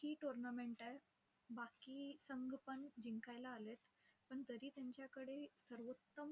ही tournament आहे. बाकी संघ पण जिंकायला आलेयत. पण तरी त्यांच्याकडे सर्वोत्तम